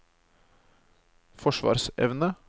forsvarsevne